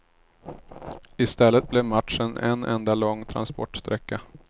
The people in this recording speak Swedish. I stället blev matchen en enda lång transportsträcka.